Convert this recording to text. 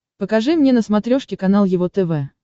покажи мне на смотрешке канал его тв